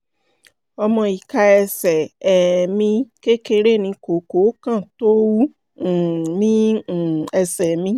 ọmọ ìka ẹsẹ̀ um mi kékeré ní kókó kan tó wú um ní um ẹsẹ̀ mi